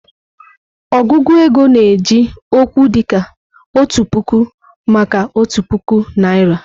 Ọgụgụ ego na-eji okwu dịka "Otu Puku" maka otu puku naịra.